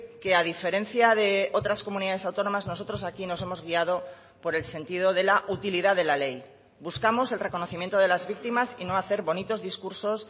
que a diferencia de otras comunidades autónomas nosotros aquí nos hemos guiado por el sentido de la utilidad de la ley buscamos el reconocimiento de las víctimas y no hacer bonitos discursos